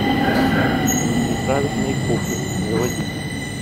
неправильные копы заводи